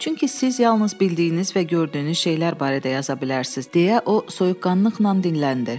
Çünki siz yalnız bildiyiniz və gördüyünüz şeylər barədə yaza bilərsiniz, deyə o soyuqqanlıqla dinləndi.